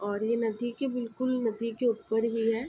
और ये नदी के बिल्कुल नदी के ऊपर ही है।